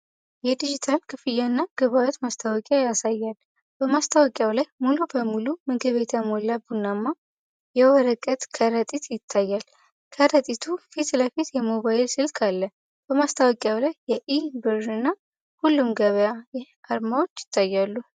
የዲጂታል ክፍያና ግብይት ማስታወቂያ ያሳያል። በማስታወቂያው ላይ ሙሉ በሙሉ በምግብ የተሞላ ቡናማ የወረቀት ከረጢት ይታያል። ከረጢቱ ፊት ለፊት የሞባይል ስልክ አለ። በማስታወቂያው ላይ የ"ኢ-ብር" እና "ሁሉም ገበያ" አርማዎች ይታያሉ።